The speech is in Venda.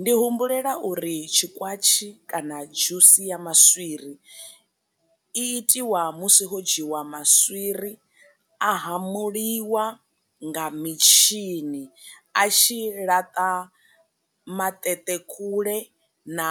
Ndi humbulela uri tshi kwatshi kana dzhusi ya maswiri i itiwa musi ho dzhiwa maswiri a hamuliwa nga mitshini a tshi laṱa maṱeṱe kule na